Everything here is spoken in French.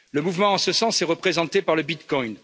Le mouvement en ce sens est représenté par le Bitcoin.